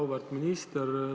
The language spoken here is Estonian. Auväärt minister!